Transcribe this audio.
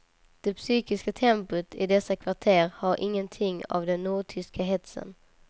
Det psykiska tempot i dessa kvarter har ingenting av den nordtyska hetsen.